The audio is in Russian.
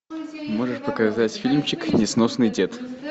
можешь показать фильмчик несносный дед